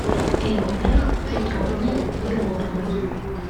эльмирой петровной егоровой